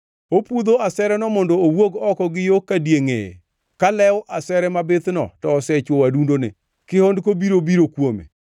Opudho asereno mondo owuog oko gi yo ka die ngʼeye, ka lew asere mabithno to osechwoyo adundone. Kihondko biro biro kuome,